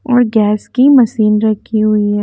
और गैस की मशीन रखी हुई है।